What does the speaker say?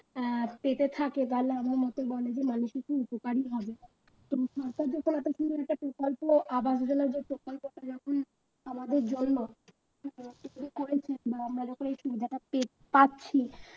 আহ পেতে থাকে তাহলে আমার মতে বলে যে মানুষদের খুব উপকারই হবে তো সরকার থেকে এত সুন্দর একটা প্রকল্প আবাস যোজনা যে প্রকল্পটা যখন আমাদের জন্য বা আমরা যখন এই সুবিধাটা পে পাচ্ছি